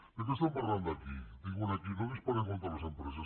de què estem parlant aquí diuen aquí no disparem contra les empreses